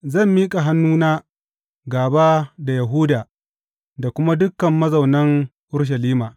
Zan miƙa hannuna gāba da Yahuda da kuma dukan mazaunan Urushalima.